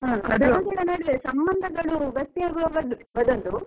ಸಂಬಂಧಗಳು ಬೆಸೆಯೋದು ಅದೊಂದು.